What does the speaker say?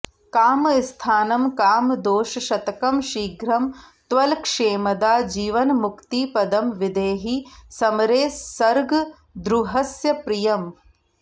कामस्थानमकामदोषशतकं शीघ्रं त्वलक्षेमदा जीवन्मुक्तिपदं विधेहि समरे सर्गद्रुहस्य प्रियम्